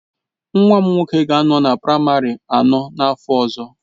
Nwa m nwoke ga-anọ na praịmarị anọ n'afọ ọzọ.